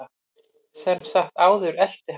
Samt sem áður elti hann mig.